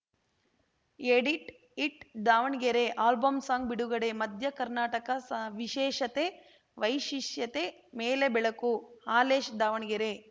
edit it Davanagere album song ಬಿಡುಗಡೆ ಮಧ್ಯ ಕರ್ನಾಟಕ ವಿಶೇಷತೆ ವೈಶಿಷ್ಯತೆ ಮೇಲೆ ಬೆಳಕು ಹಾಲೇಶ ದಾವಣಗೆರೆ